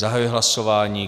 Zahajuji hlasování.